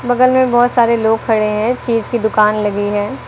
बगल में बहुत सारे लोग खड़े हैं चीज की दुकान लगी है।